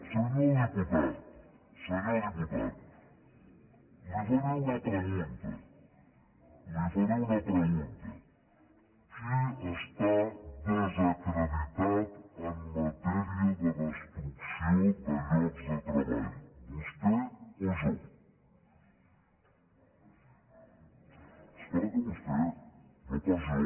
senyor diputat senyor diputat li faré una pregunta li faré una pregunta qui està desacreditat en matèria de destrucció de llocs de treball vostè o jo és clar que vostè no pas jo